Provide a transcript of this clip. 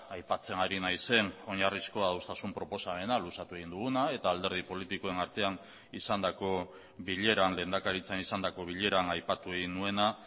aipatzen ari naizen oinarrizko adostasun proposamena luzatu egin duguna eta alderdi politikoen artean izandako bileran lehendakaritzan izandako bileran aipatu egin nuena